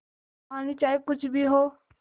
कहानी चाहे कुछ भी हो